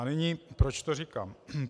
A nyní, proč to říkám?